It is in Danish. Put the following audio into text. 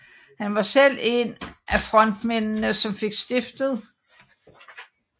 Han var selv en af frontmændene som fik stiftet den første Hells Angels afdeling i Danmark i 1980